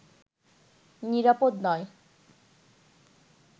নিরাপদ নয়